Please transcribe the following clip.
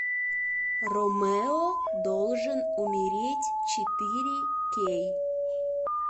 ромео должен умереть четыре кей